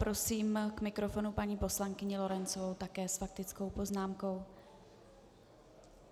Prosím k mikrofonu paní poslankyni Lorencovou také s faktickou poznámkou.